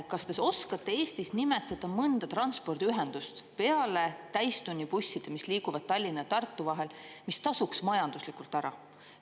Kas te oskate Eestis nimetada mõnda transpordiühendust peale täistunnibusside, mis liiguvad Tallinna ja Tartu vahel, mis tasuks majanduslikult ära?